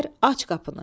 Dedilər, aç qapını.